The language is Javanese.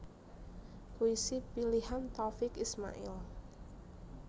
Puisi Pilihan Taufiq Ismail